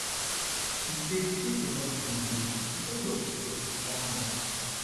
e say if enough plane dey di price of ticket go come down